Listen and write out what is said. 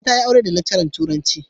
Nana za ta yi aure da lecturer turanci.